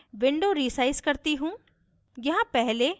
मैं window resize करती हूँ